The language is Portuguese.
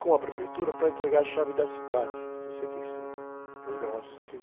com a prefeitura para entregar a chave da cidade, em sessenta e cinco. sessenta e...